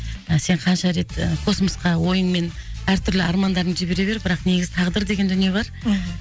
сен қанша рет космосқа ойың мен әр түрлі армандарыңды жібере бер бірақ негізі тағдыр деген дүние бар мхм